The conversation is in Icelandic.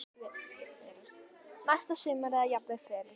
Næsta sumar eða jafnvel fyrr.